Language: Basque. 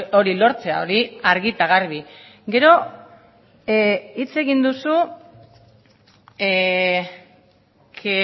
hori lortzea hori argi eta garbi gero hitz egin duzu que